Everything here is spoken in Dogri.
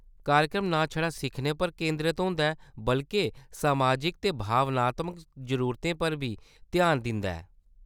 कार्यक्रम ना छड़ा सिक्खने पर केंदरत होंदा ऐ बल्के समाजिक ते भावनात्मक जरूरतें पर बी ध्यान दिंदा ऐ।